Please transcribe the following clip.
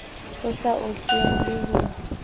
ho sa ohlweng le ho